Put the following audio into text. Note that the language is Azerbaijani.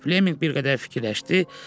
Fleminq bir qədər fikirləşdi.